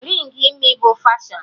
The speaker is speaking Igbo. Rịng imi bụ fashọn